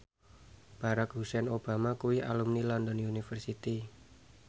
Barack Hussein Obama kuwi alumni London University